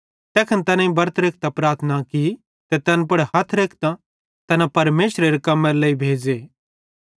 तैखन तैनेईं बरत रेखतां प्रार्थना की ते तैन पुड़ हथ रेखतां तैना परमेशरेरे कम्मेरे लेइ भेज़े